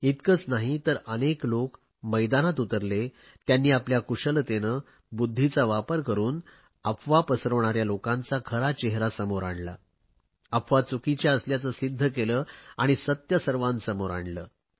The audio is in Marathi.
इतकेच नाही तर अनेक लोक मैदानात उतरले त्यांनी आपल्या कुशलतेने बुध्दीचा वापर करुन अफवा पसरवणाऱ्या लोकांचा खरा चेहरा समोर आणला अफवा चुकीच्या असल्याचे सिध्द केले आणि सत्य सर्वांसमोर आणले